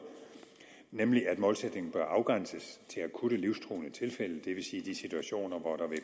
nemlig at målsætningen bør afgrænses til akutte livstruende tilfælde det vil sige de situationer hvor der vil